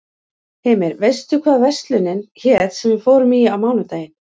Hymir, manstu hvað verslunin hét sem við fórum í á mánudaginn?